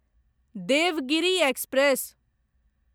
Devgiri express